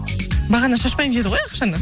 бағана шашпаймын деді ғой ақшаны